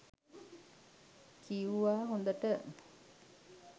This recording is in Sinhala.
කිව්වා හොඳට